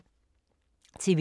TV 2